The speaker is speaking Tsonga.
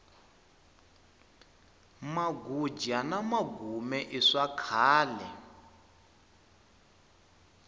maguja na magume i swakhale